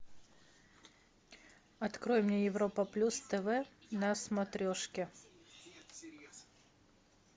открой мне европа плюс тв на смотрешке